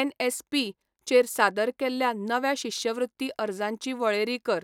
NSP चेर सादर केल्ल्या नव्या शिश्यवृत्ती अर्जांची वळेरी कर.